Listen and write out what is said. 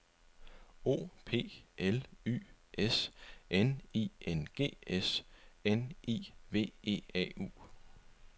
O P L Y S N I N G S N I V E A U